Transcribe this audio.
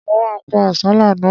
Mo ma pa àsálà náà.